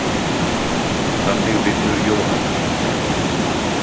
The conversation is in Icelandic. Þannig vinnur Jóhanna.